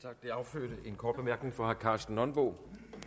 tak det affødte en kort bemærkning fra herre karsten nonbo